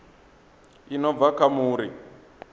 i no bva kha muri